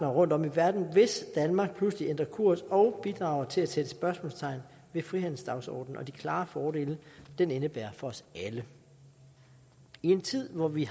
rundt om i verden hvis danmark pludselig ændrer kurs og bidrager til at sætte spørgsmålstegn ved frihandelsdagsordenen og de klare fordele den indebærer for os alle i en tid hvor vi